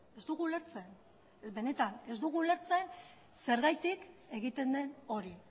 ez dugu ulertzen benetan ez dugu ulertzen zergatik egiten den hori